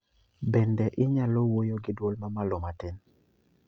Bende inyalo wuoyo giduol mamalo matin